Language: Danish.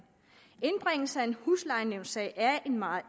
sagen huslejenævnssag er meget